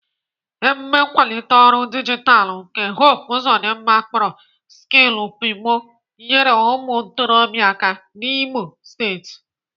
Emume nkwalite ọrụ dijitalụ nke Hope Uzodimma akpọrọ Skillupimo nyere ụmụ ntorobịa aka n'Imo steeti.